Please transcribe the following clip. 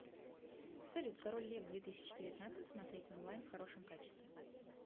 салют король лев две тысячи девятнадцать смотреть онлайн в хорошем качестве